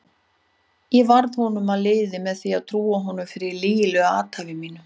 Ég varð honum að liði með því að trúa honum fyrir lygilegu athæfi mínu.